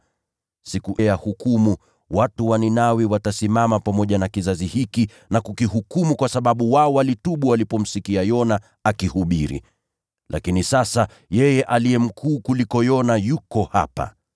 Siku ya hukumu, watu wa Ninawi watasimama pamoja na kizazi hiki na kukihukumu; kwa maana wao walitubu waliposikia mahubiri ya Yona. Na tazama, hapa yupo yeye aliye mkuu kuliko Yona.